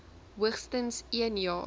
hoogstens een jaar